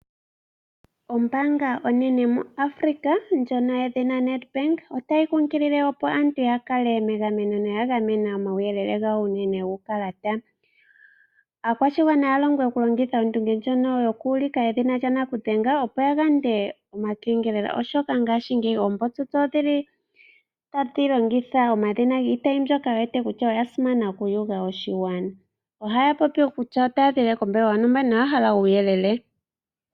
Yimwe yomoombaanga dhaNamibia yedhina Nedbank otayi kunkilile aantu opo yakale megameno noyagamena omauyelele gawo unene guukalata. Aakwashigwana otaa longwa ndjoka yokulongitha ondunge ndjoka yokuulika edhina lyanakudhenga opo yayande omakengelelo, oshoka ngaashingeyi oombotsotso odhili tadhi longitha omadhina giitayi mbyoka yewete kutya oyasimana okuuva moshigwana, ohaa popi kutya otaaziilile kombelewa yontumba noyahala uuyelele.